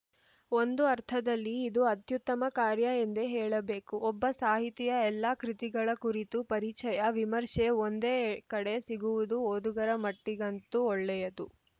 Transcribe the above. ಒಂದು ಅರ್ಥದಲ್ಲಿ ಇದು ಅತ್ಯುತ್ತಮ ಕಾರ್ಯ ಎಂದೇ ಹೇಳಬೇಕು ಒಬ್ಬ ಸಾಹಿತಿಯ ಎಲ್ಲಾ ಕೃತಿಗಳ ಕುರಿತ ಪರಿಚಯ ವಿಮರ್ಶೆ ಒಂದೇ ಕಡೆ ಸಿಗುವುದು ಓದುಗರ ಮಟ್ಟಿಗಂತೂ ಒಳ್ಳೆಯದು